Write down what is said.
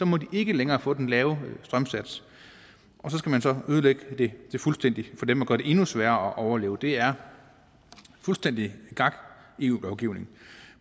må de ikke længere få den lave strømsats og så skal man så ødelægge det fuldstændig for dem og gøre det endnu sværere at overleve det er fuldstændig gak eu lovgivning